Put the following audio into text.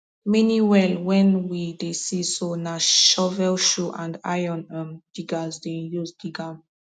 many well wen we dey see so na shovelshoe and iron um diggers dem use dig am